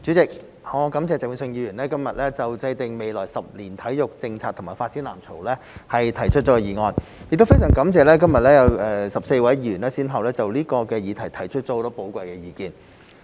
主席，我感謝鄭泳舜議員今日就"制訂未來十年體育政策及發展藍圖"提出議案，亦非常感謝今日有14位議員先後就這個議題提出了很多寶貴的意見。